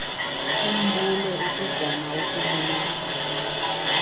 umbulo ukuzama ukubulala